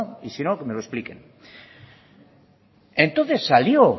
y si no que me lo expliquen entonces salió